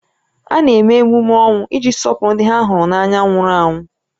A na-eme emume ọnwụ iji sọpụrụ ndị ha hụrụ n'anya nwụrụ anwụ